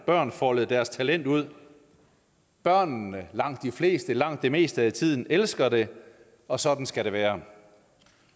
børn folde deres talent ud børnene langt de fleste langt det meste af tiden elsker det og sådan skal det være